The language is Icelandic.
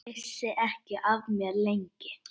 Vissi ekki af mér, lengi.